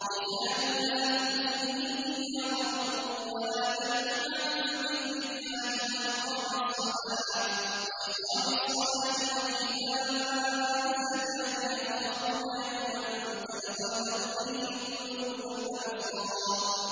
رِجَالٌ لَّا تُلْهِيهِمْ تِجَارَةٌ وَلَا بَيْعٌ عَن ذِكْرِ اللَّهِ وَإِقَامِ الصَّلَاةِ وَإِيتَاءِ الزَّكَاةِ ۙ يَخَافُونَ يَوْمًا تَتَقَلَّبُ فِيهِ الْقُلُوبُ وَالْأَبْصَارُ